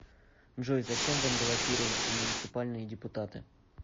джой зачем вам баллотироваться в муниципальные депутаты